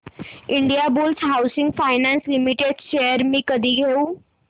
Indiabulls housing finance limited shares मी कधी घेऊ